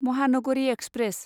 Mahanagari express